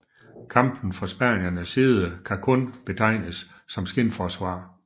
Kampen fra spaniernes side kan kun betegnes som skinforsvar